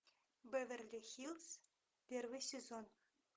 беверли хилз первый сезон